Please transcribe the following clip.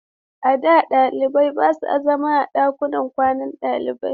A da, ɗalibai ba sa zama a ɗakunan kwanan ɗalibai.